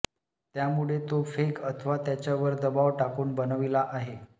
त्यामुळे तो फेक अथवा त्याच्यावर दबाब टाकून बनविला आहे